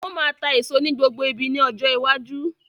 Wọn má máa tá èso ní gbogbo ibi ni ọjọ́ iwájú.